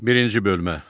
Birinci bölmə.